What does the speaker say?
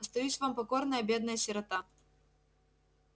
остаюсь вам покорная бедная сирота